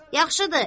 Yaxşıdır.